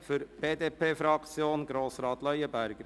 Für die BDP-Fraktion spricht Grossrat Leuenberger.